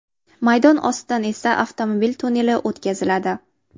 Maydon ostidan esa avtomobil tunneli o‘tkaziladi.